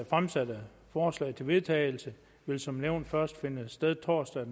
fremsatte forslag til vedtagelse vil som nævnt først finde sted torsdag